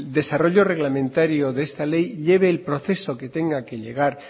desarrollo reglamentario de esta ley lleve el proceso que tenga que llevar